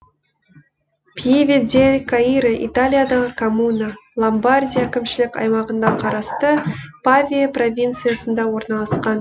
пьеве дель каиро италиядағы коммуна ломбардия әкімшілік аймағына қарасты павия провинциясында орналасқан